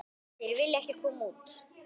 Þeir vilja ekki koma út.